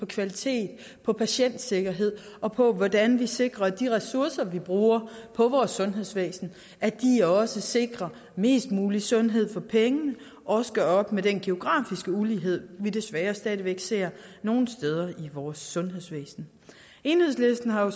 kvalitet og patientsikkerhed og på hvordan vi sikrer at de ressourcer vi bruger på vores sundhedsvæsen også sikrer mest mulig sundhed for pengene og også gør op med den geografiske ulighed vi desværre stadig væk ser nogle steder i vores sundhedsvæsen enhedslisten har